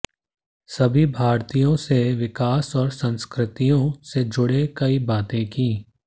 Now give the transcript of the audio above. सभी भारतीयों से विकास और संस्कृतियों से जु़ड़ी कई बातें की